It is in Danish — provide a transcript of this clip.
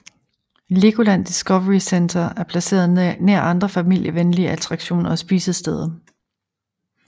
Legoland Discovery Center er placeret nær andre familievenlige attraktioner og spisesteder